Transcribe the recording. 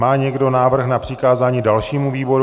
Má někdo návrh na přikázání dalšímu výboru?